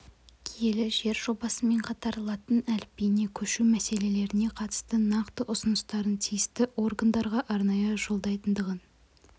киелі жер жобасымен қатар латын әліпбиіне көшу мәселелеріне қатысты нақты ұсыныстарын тиісті органдарға арнайы жолдайтындығын